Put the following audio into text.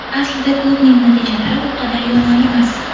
Aslida klubning natijalari u qadar yomon emas.